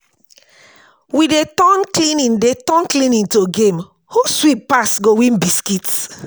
We dey turn cleaning dey turn cleaning to game, who sweep pass go win biscuit.